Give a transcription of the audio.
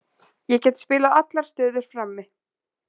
Ég get spilað allar stöður frammi.